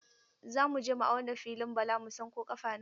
Za mu je mu auna filin Bala mu san ko ƙafa nawa ne.